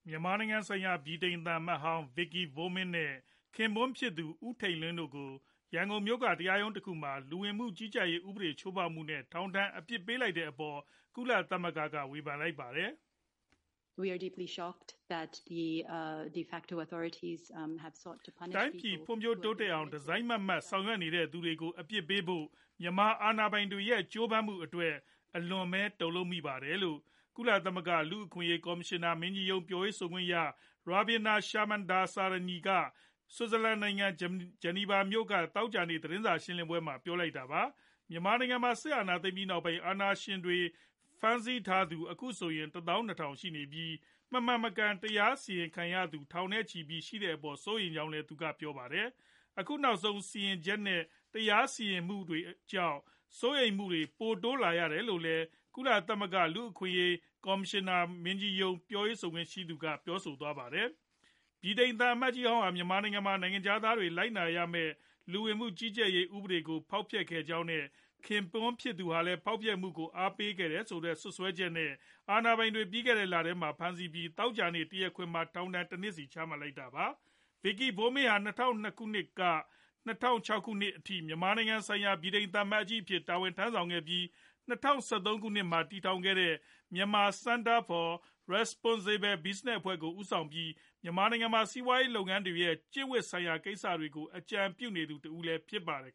မြန်မာနိုင်ငံဆိုင်ရာ ဗြိတိန်သံအမတ်ဟောင်း Vicky Bowman နဲ့ ခင်ပွန်းဖြစ်သူ ဦးထိန်လင်း တို့ကို ရန်ကုန်မြို့က တရားရုံးတခုမှာ လူဝင်မှုကြီးကြပ်ရေးဥပဒေ ချိုးဖောက်မှုနဲ့ ထောင်ဒဏ်အပြစ်ပေးလိုက်တဲ့အပေါ် ကုလသမဂ္ဂက ဝေဖန်လိုက်ပါတယ်။ “တိုင်းပြည်ဖွံ့ဖြိုးတိုးတက်အောင် တစိုက်မတ်မတ် ဆောင်ရွက်နေသူတွေကို အပြစ်ပေးဖို့ မြန်မာအာဏာပိုင်တွေရဲ့ ကြိုးပမ်းမှုအတွက် အလွန်ပဲ တုံလှုပ်မိပါတယ်” လို့ ကုလသမဂ္ဂ လူ့အခွင့်အရေး ကော်မရှင်နာမင်းကြီးရုံး ပြောခွင့်ရ Ravina Shamdasani က ဆွစ်ဇာလန်နိုင်ငံ ဂျနီဗာမြို့က သောကြာနေ့ သတင်းစာ ရှင်းလင်းပွဲမှာ ပြောလိုက်တာပါ။ မြန်မာနိုင်ငံမှာ စစ်အာဏာသိမ်းပြီးနောက်ပိုင်း အာဏာပိုင်တွေ ဖမ်းဆီးထားသူ အခုဆို ၁၂ဝဝဝ ရှိနေပြီး၊ မမှန်မကန် တရားစီရင်ခံရသူ ထောင်နဲ့ချီ ရှိတဲ့အပေါ် စိုးရိမ်ကြောင်းလည်း ပြောပါတယ်။ အခုနောက်ဆုံး စီရင်ချက်နဲ့ တရားစီရင်မှုတွေကြောင့် စိုးရိမ်မှုတွေ ပိုတိုးလာရတယ်လို့လည်း ကုလသမဂ္ဂ လူ့အခွင့်အရေး ကော်မရှင်နာမင်းကြီးရုံး ပြောခွင့်ရပုဂ္ဂိုလ်က ပြောဆိုသွားပါတယ်။ ဗြိတိန်သံအမတ်ဟောင်းဟာ မြန်မာနိုင်ငံမှာ နိုင်ငံခြားသားတွေ လိုက်နာရမယ့် လူဝင်မှုကြီးကြပ်ရေးဆိုင်ရာ ဥပဒေကို ဖောက်ဖျက်ခဲ့ကြောင်းနဲ့ ခင်ပွန်းဖြစ်သူဟာလည်း ဖောက်ဖျက်မှုကို အားပေးခဲ့တယ်ဆိုတဲ့ စွပ်စွဲချက်နဲ့ အာဏာပိုင်တွေ ပြီးခဲ့တဲ့လထဲမှာပဲ ဖမ်းဆီးခဲ့ပြီး သောကြာနေ့ တရားခွင်မှာ ထောင်ဒဏ် ၁ နှစ်စီ ချမှတ်ခဲ့တာပါ။ Vicky Bowman ဟာ ၂၀၀၂ ခုနှစ်ကနေ ၂၀၀၆ ခုနှစ်အထိ မြန်မာနိုင်ငံဆိုင်ရာ ဗြိတိန်သံအမတ်ကြီးအဖြစ် တာဝန်ထမ်းဆောင်ခဲ့ပြီး၊ ၂၀၁၃ ခုနှစ်မှာ တည်ထောင်ခဲ့တဲ့ Myanmar Center for Responsible Business အဖွဲ့ကို ဦးဆောင်ပြီး မြန်မာနိုင်ငံမှာ စီးပွားရေးလုပ်ငန်းတွေရဲ့ ကျင့်ဝတ်ဆိုင်ရာ ကိစ္စတွေကို အကြံပြုနေသူ တဦးလည်း ဖြစ်ပါတယ်